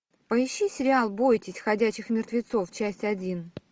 поищи сериал бойтесь ходячих мертвецов часть один